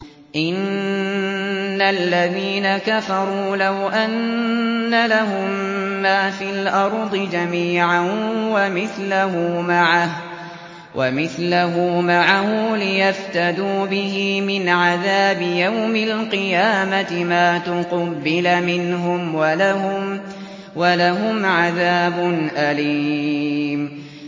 إِنَّ الَّذِينَ كَفَرُوا لَوْ أَنَّ لَهُم مَّا فِي الْأَرْضِ جَمِيعًا وَمِثْلَهُ مَعَهُ لِيَفْتَدُوا بِهِ مِنْ عَذَابِ يَوْمِ الْقِيَامَةِ مَا تُقُبِّلَ مِنْهُمْ ۖ وَلَهُمْ عَذَابٌ أَلِيمٌ